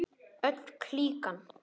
Öll klíkan.